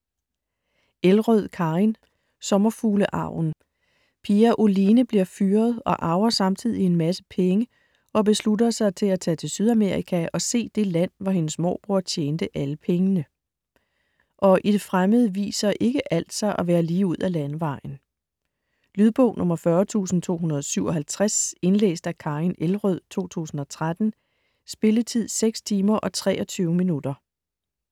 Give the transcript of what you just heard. Elrød, Karin: Sommerfuglearven Pia Oline bliver fyret og arver samtidig en masse penge og beslutter sig til at tage til Sydamerika og se det land, hvor hendes morbror tjente alle pengene. Og i det fremmede viser ikke alt sig at være lige ud af landevejen. Lydbog 40257 Indlæst af Karin Elrød, 2013. Spilletid: 6 timer, 23 minutter.